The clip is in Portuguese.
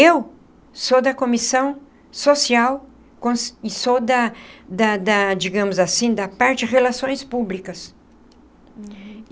Eu sou da comissão social e sou da da da, digamos assim, da parte de relações públicas. Uhum.